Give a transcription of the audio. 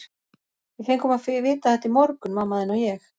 Við fengum að vita þetta í morgun, mamma þín og ég.